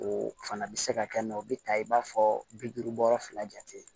O fana bɛ se ka kɛ mɛ o bɛ ta i b'a fɔ bi duuru fila jate